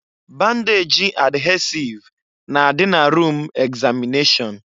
Bandejị adhesịve na-adị na rum egzamịneshọn.